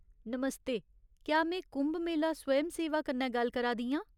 नमस्ते, क्या में कुम्भ मेला स्वयं सेवा कन्नै गल्ल करा दी आं ?